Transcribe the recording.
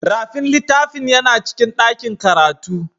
Rafin littafin yana cikin dakin karatu.